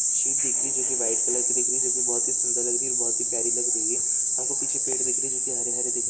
sheet दिख रही है जो की वाईट कलर दिख रहे रही है जो की बहुत सुन्दर लग रही है और बहुत ही प्यारी लग रही है हमको पीछे पेड़ दिख रहे है जो हरे-हरे दिख--